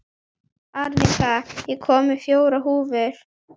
Arnika, ég kom með fjórar húfur!